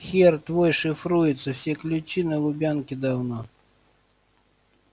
хер твой шифруется все ключи на лубянке давно